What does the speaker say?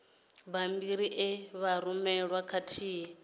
bammbiri e vha rumelwa khathihi